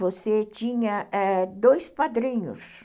Você tinha é dois padrinhos.